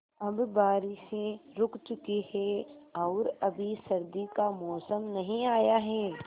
अब बारिशें रुक चुकी हैं और अभी सर्दी का मौसम नहीं आया है